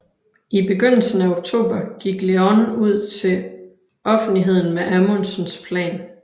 I begyndelsen af oktober gik Leon ud til offentligheden med Amundsens plan